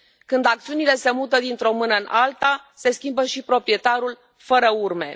Când acțiunile se mută dintr o mână în alta se schimbă și proprietarul, fără urme.